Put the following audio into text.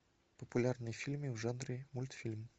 популярные фильмы в жанре мультфильм